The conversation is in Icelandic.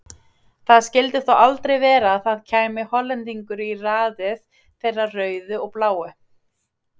Það skildi þó aldrei vera að það kæmi Hollendingur í raðið þeirra rauðu og bláu?